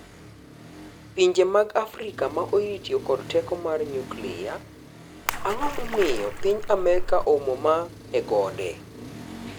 Pinje mag Afrika ma oyie tiyo kod teko mar nyuklia Ang’o momiyo piny Amerka oumo mo e gode?